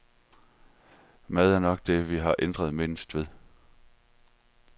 Maden er nok det, vi har ændret mindst ved.